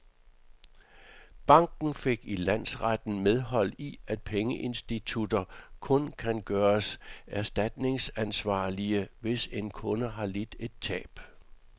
Banken fik i landsretten medhold i, at pengeinstitutter kun kan gøres erstatningsansvarlige, hvis en kunde har lidt et tab.